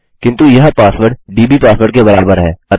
किन्तु यह password DB password के बराबर है